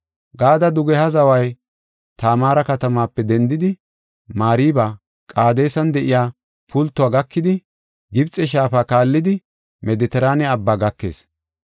Gaade dugeha zaway Tamaara katamaape dendidi, Mariba Qaadesan de7iya pultouwa gakidi, Gibxe shaafa kaallidi, Medetiraane Abbaa gakees.